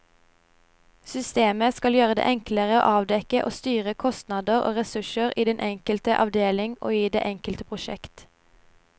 Systemet skal gjøre det enklere å avdekke og styre kostnader og ressurser i den enkelte avdeling og i det enkelte prosjekt.